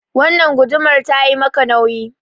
Wannan gudumar ta yi maka nauyi.